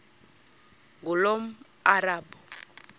ngulomarabu